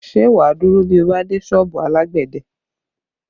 Ṣé wá dúró bí o bá dé sọ́ọ̀bù alágbẹ̀dẹ?